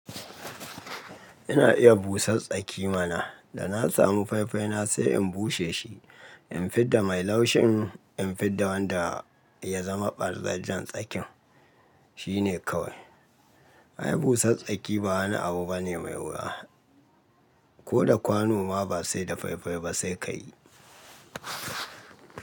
Ina iya busar tsaki mana. Da na samu fai-fai na sai in bushe shi, in fidda mai laushin, in fidda wanda ya zama ɓarzajjen tsakin. Shine kawai. Ai busar tsaki ba wani abu bane mai wuya. Ko da kwano ma ba sai da fai-fai ba sai ka yi.